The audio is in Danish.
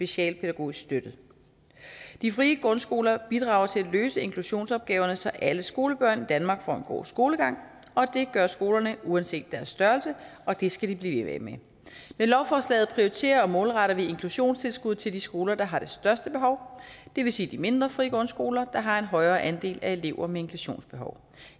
socialpædagogisk støtte de frie grundskoler bidrager til at løse inklusionsopgaverne så alle skolebørn i danmark får en god skolegang og det gør skolerne uanset deres størrelse og det skal de blive ved med med lovforslaget prioriterer og målretter vi inklusionstilskuddet til de skoler der har det største behov det vil sige de mindre frie grundskoler der har en højere andel af elever med inklusionsbehov